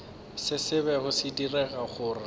se bego se dira gore